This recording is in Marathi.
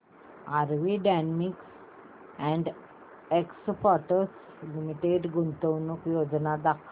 RV denims and exports limited गुंतवणूक योजना दाखव